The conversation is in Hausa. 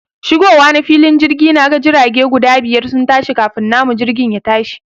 Shigowa na filin jirga, naga jirage guda biyar sun tashi kafin namu jirgin yatashi